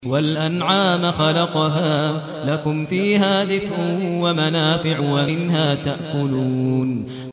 وَالْأَنْعَامَ خَلَقَهَا ۗ لَكُمْ فِيهَا دِفْءٌ وَمَنَافِعُ وَمِنْهَا تَأْكُلُونَ